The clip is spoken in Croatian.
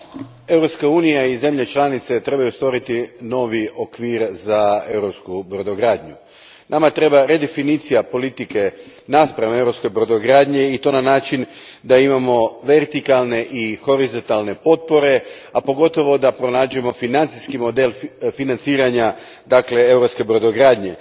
Gospođo predsjednice, Europska unija i zemlje članice trebaju stvoriti novi okvir za europsku brodogradnju. Nama treba redefinicija politike naspram europske brodogradnje i to na način da imamo vertikalne i horizontalne potpore, a pogotovo da pronađemo financijski model financiranja europske brodogradnje.